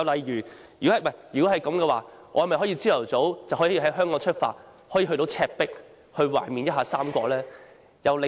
如果可以，那我們豈不可以早上在香港出發，當天便到達赤壁，懷緬一下三國呢？